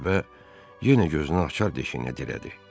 Tələbə yenə gözünü acar deşiyinə dirədi.